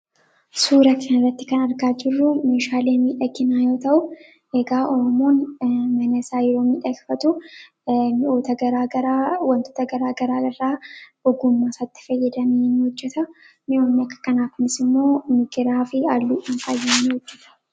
suuraknarratti kan argaa jirruu mishaaleemi dhakinaa yoo ta'u eegaa omoon menesaayiroomii dheekfatu mioota ggwantoota garaa garaa raa hugummaasatti fayyadamiin hojjeta mi'oomni akka kanaakunis immoo migiraa fi alluu dhanfaayyaan hojjeta